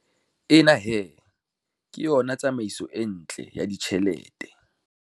Ena he, ke yona tsamaiso e ntle ya ditjhelete.